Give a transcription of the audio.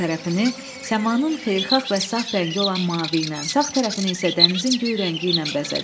Sol tərəfini səmanın xeyirxah və saf rəngi olan mavi ilə, sağ tərəfini isə dənizin göy rəngi ilə bəzədi.